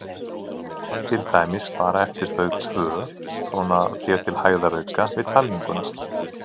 Til dæmis bara eftir þau tvö, svona þér til hægðarauka við talninguna?